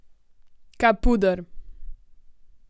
Capuder.